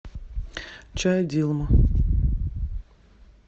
чай дилма